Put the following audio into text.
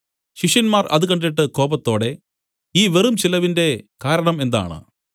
ശിഷ്യന്മാർ അത് കണ്ടിട്ട് കോപത്തോടെ ഈ വെറും ചെലവിന്റെ കാരണം എന്താണ്